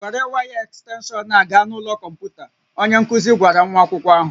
Were waya ekstenshọn a gaa n'ime ụlọ kọmputa, onye nkuzi gwara nwa akwụkwọ ahụ